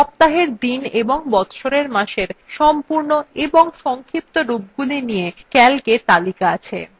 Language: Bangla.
সপ্তাহের দিন এবং বচ্ছরের মাসের সম্পূর্ণ এবং সংক্ষিপ্ত রূপগুলি নিয়ে calcএ তালিকা আছে